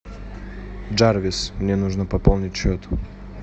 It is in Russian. джарвис мне нужно пополнить счет